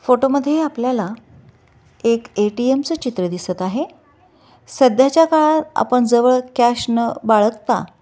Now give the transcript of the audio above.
photo मध्ये ही आपल्याला एक ए टी एम च चित्र दिसत आहे सध्याच्या काळात आपण जवळ कॅश न बाळगता--